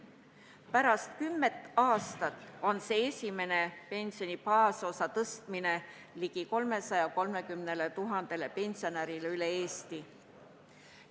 Pärast kümmet aastat on see esimene pensioni baasosa tõstmine ligi 330 000 pensionäril üle Eesti.